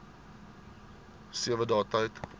sewe dae tyd